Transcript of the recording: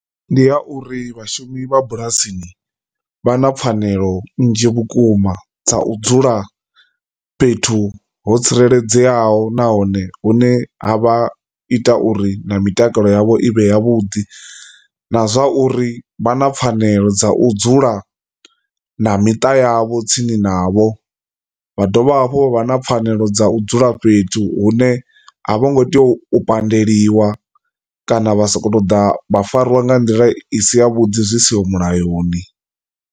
Ndi ya uri vhashumi vha bulasini vha na pfhanelo nnzhi vhukuma dza u dzula fhethu ho tsireledzeaho nahone hune ha vha ita uri na mitakalo yavho i vhe ya vhuḓi, na zwa uri vha na pfhanelo dza u dzula na miṱa yavho tsini navho vha dovha hafhu vho vha na pfhanelo dza u dzula fhethu hune a vho ngo tea u badeliwa kana vha soko ṱoḓa vha fariwa nga nḓila i si ya vhuḓi zwi siho mulayoni.